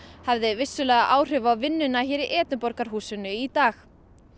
hafði vissulega áhrif á vinnuna hér í Edinborgarhúsinu í dag